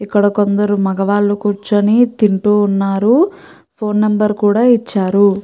ఇక్కడ కొందరు మగవాళ్ళు కూర్చొని తింటూ ఉన్నారు ఫోన్ నెంబర్ కూడా ఇచ్చారు.